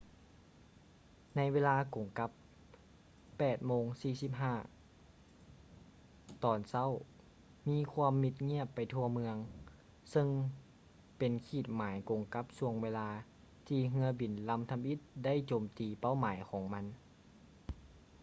ໃນເວລາກົງກັບ 8:46 ຕອນເຊົ້າ ມີຄວາມມິດງຽບໄປທົ່ວເມືອງ ຊຶ່ງເປັນຂີດໝາຍກົງກັບຊ່ວງເວລາ ທີ່ເຮືອບິນລຳທຳອິດໄດ້ໂຈມຕີີເປົ້າໝາຍຂອງມັນ